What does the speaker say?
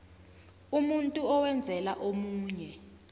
umuntu owenzela omunye